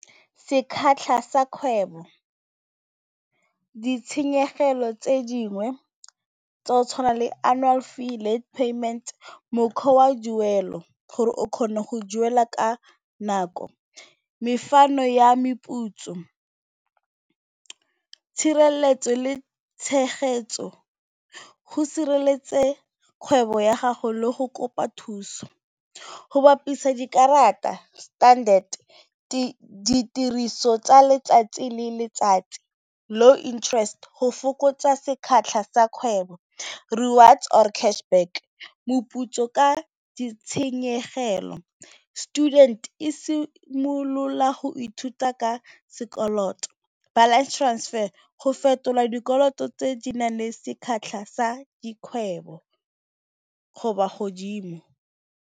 Sa kgwebo ditshenyegelo tse dingwe tsa o tshwana le annual fee le payment mokgwa wa gore o kgone go duela ka nako mefano ya meputso, tshireletso le tshegetso, go sireletse kgwebo ya gago le go kopa thuso, go bapisa dikarata standard, ditiriso tsa letsatsi le letsatsi low interest go fokotsa sekgatlha sa kgwebo rewards or cash back moputso ka ditshenyegelo student e simolola go ithuta ka sekoloto balance transfer go fetolwa dikoloto tse di nang le sa dikgwebo go ba godimo.